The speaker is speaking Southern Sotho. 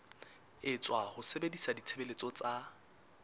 etswa ho sebedisa ditshebeletso tsa